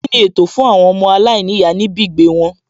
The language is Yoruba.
Kíni ètò fún àwọn ọmọ aláìníyàá níbì gbèé wọn?